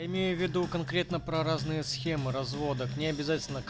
имею в виду конкретно про разные схемы развода к ней обязательно